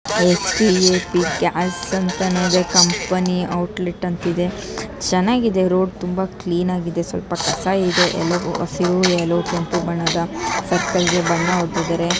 Gas ಅಂತನೆ company outlet ಅಂತ ಇದೆ. ಚೆನ್ನಾಗಿದೆ ರೊಡ್ ತುಂಬಾ ಕ್ಲಿನ್ ಆಗಿದೆ ಸಲ್ಪ ಕಸಾ ಇದೆ. ಹಸಿರು ಎಲ್ಲೊ ಮತ್ತು ಕೆಂಪು ಬಣ್ಣದ ಸರ್ಕಲ್ಗೆ ಬಣ್ಣ ಹೊಡೆದಿದಾರೆ.